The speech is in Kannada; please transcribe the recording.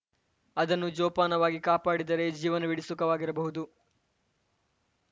ಅದನ್ನು ಜೋಪಾನವಾಗಿ ಕಾಪಾಡಿದರೆ ಜೀವನವೀಡಿ ಸುಖವಾಗಿರಬಹುದು